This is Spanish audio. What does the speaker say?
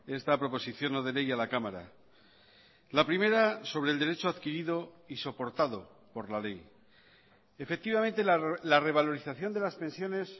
esta proposición no de ley a la cámara la primera sobre el derecho adquirido y soportado por la ley efectivamente la revalorización de las pensiones